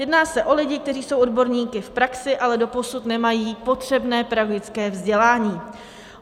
Jedná se o lidi, kteří jsou odborníky v praxi, ale doposud nemají potřebné pedagogické vzdělání.